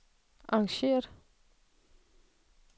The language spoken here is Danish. arrangeret